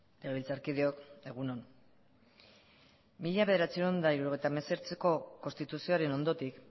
legebiltzarkideok egun on mila bederatziehun eta hirurogeita hemezortziko konstituzioaren ondotik